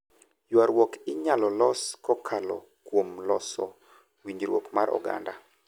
ywaruok inyalo los kokalo kuom loso winjruok mar oganda